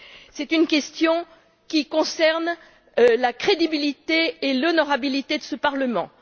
C'est une question qui concerne la crédibilité et l'honorabilité de ce Parlement.